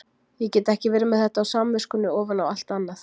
Ég get ekki verið með þetta á samviskunni ofan á allt annað.